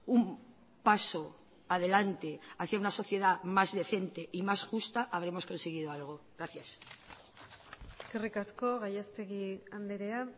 un paso adelante hacia una sociedad más decente y más justa habremos conseguido algo gracias eskerrik asko gallastegui andrea